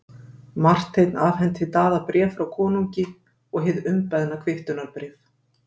Marteinn afhenti Daða bréf frá konungi og hið umbeðna kvittunarbréf.